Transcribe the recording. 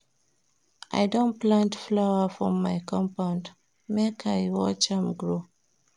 I don plant flower for my compound, make I watch am grow.